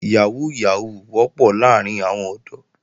Yàhóó Yàhóó wọ́pọ̀ láàrín àwọn ọ̀dọ́